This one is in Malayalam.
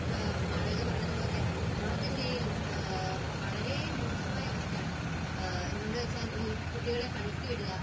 ആഹ്, മാളവിക പറഞ്ഞതുപോലെ നോർത്തിന്ത്യയിൽ വളരെ മോശമായ അവസ്ഥയാണ്. എന്തുകൊണ്ട് എന്നുവച്ചാൽ ഈ കുട്ടികളെ പണിക്ക് വിടുക